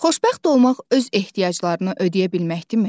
Xoşbəxt olmaq öz ehtiyaclarını ödəyə bilməkdirmi?